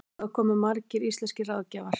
Þangað komu margir íslenskir ráðgjafar.